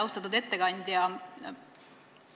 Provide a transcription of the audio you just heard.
Austatud ettekandja!